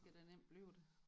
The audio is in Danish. Det kan der nemt blive da